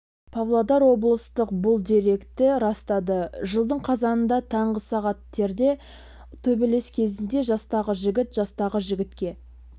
павлодар облыстық бұл деректі растады жылдың қазанында таңғы сағат терде төбелес кезінде жастағы жігіт жастағы жігітке